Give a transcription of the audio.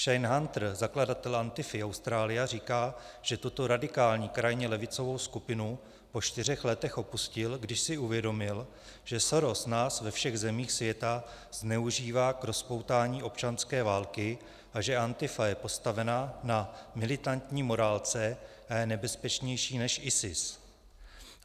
Shayne Hunter, zakladatel Antifa Australia, říká, že tuto radikálně krajně levicovou skupinu po čtyřech letech opustil, když si uvědomil, že Soros nás ve všech zemích světa zneužívá k rozpoutání občanské války a že Antifa je postavena na militantní morálce a je nebezpečnější než ISIS.